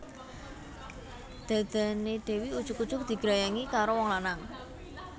Dhadhane Dewi ujug ujug digrayangi karo wong lanang